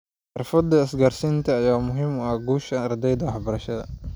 Xirfadaha isgaarsiineed ayaa muhiim u ah guusha ardayga ee waxbarashada.